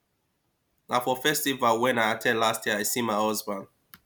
na for the festival wen i at ten d last year i see my husband